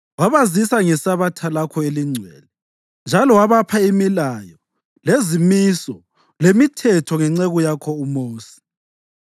Wabazisa ngeSabatha lakho elingcwele njalo wabapha imilayo, lezimiso lemithetho ngenceku yakho uMosi.